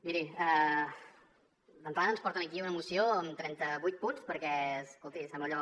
miri d’entrada ens porten aquí una moció amb trenta vuit punts perquè escolti sembla allò